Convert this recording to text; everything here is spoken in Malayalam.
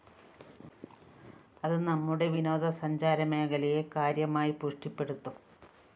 അത് നമ്മുടെ വിനോദസഞ്ചാരമേഖലയെ കാര്യമായി പുഷ്ടിപ്പെടുത്തും